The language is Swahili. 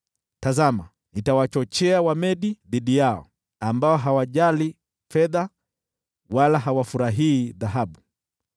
Tazama, nitawachochea Wamedi dhidi yao, ambao hawajali fedha wala hawafurahii dhahabu.